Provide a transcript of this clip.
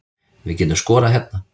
Við getum skorað hérna